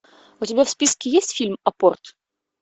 у тебя в списке есть фильм апорт